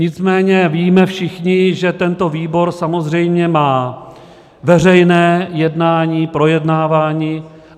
Nicméně víme všichni, že tento výbor samozřejmě má veřejné jednání, projednávání.